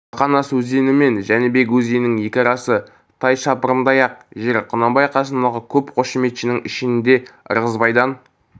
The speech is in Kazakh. бақанас өзені мен жәнібек өзенінің екі арасы тай шаптырымдай-ақ жер құнанбай қасындағы көп қошеметшінің ішінде ырғызбайдан